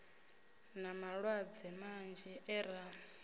na malwadze manzhi e ra